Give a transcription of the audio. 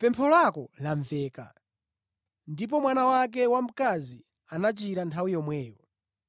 Pempho lako lamveka.” Ndipo mwana wake wamkazi anachira nthawi yomweyo.